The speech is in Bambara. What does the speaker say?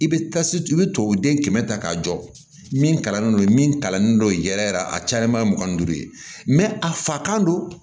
I bɛ tasi i bɛ tubabuden kɛmɛ ta k'a jɔ min kalannen don min kalannen don yɛrɛ yɛrɛ a cayalenba ye mugan ni duuru ye mɛ a fa kan don